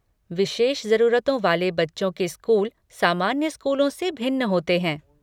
विशेष जरूरतों वाले बच्चों के स्कूल सामान्य स्कूलों से भिन्न होते हैं।